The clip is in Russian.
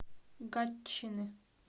гатчины